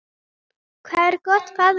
Hvað er gott, faðir minn?